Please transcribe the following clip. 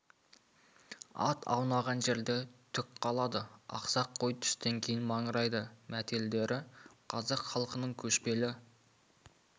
ат аунаған жерде түк қалады ақсақ қой түстен кейін маңырайды мәтелдері қазақ халқының көшпелі